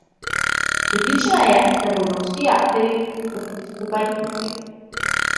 Prepričana je, da bodo vsi akterji stopili skupaj in ukrepali.